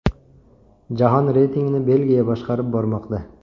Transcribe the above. Jahon reytingini Belgiya boshqarib bormoqda.